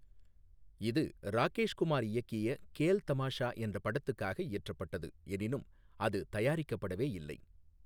இது ராகேஷ் குமார் இயக்கிய கேல் தமாஷா என்ற படத்துக்காக இயற்றப்பட்டது, எனினும் அது தயாரிக்கப்படவே இல்லை.